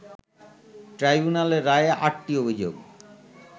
ট্রাইব্যুনালের রায়ে আটটি অভিযোগ